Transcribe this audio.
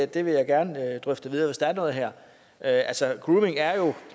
det vil jeg gerne drøfte videre hvis der er noget her altså grooming er jo